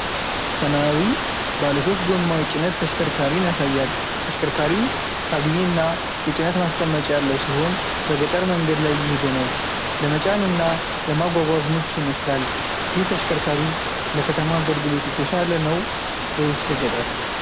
ሰማያዊ ባለሶስት ጎማ የጭነት ተሽከርካሪን ያሳያል። ተሽከርካሪው ካቢኔ እና የጭነት ማስቀመጫ ያለው ሲሆን፣ በገጠር መንገድ ላይ እየሄደ ነው። ለመጫን እና ለማጓጓዝ ምቹ ይመስላል። ይህ ተሽከርካሪ ለከተማ አገልግሎት የተሻለ ነው ወይስ ለገጠር?